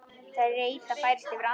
Þreyta færist yfir andlit hans.